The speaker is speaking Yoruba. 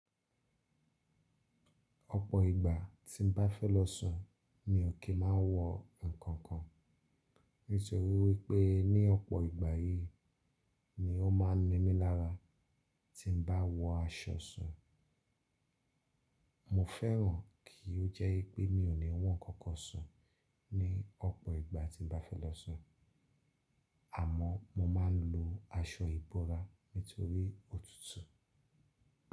Ọ̀pọ̀ ìgbà tí n bá fẹ́ lọ sùn mi ò kí máa ń wọ ǹkankan. Nítorí wípé ní ọ̀pọ̀ ìgbà yì ni ó máa ń nimí lára tí n bá wọ aṣọ sùn. Mo fẹ́ràn kí ó jẹ́ pé mi ò ní wọ ǹkankan sùn ní ọ̀pọ̀ ìgbà tí n bá fẹ́ lọ sùn. Àmọ́ mo máa ń lo aṣọ ìbora nítorí òtútù.